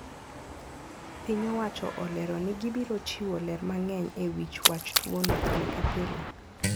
Piny owacho olero ni gibirochiwo ler mang`eny e wi wach tuono pile ka pile.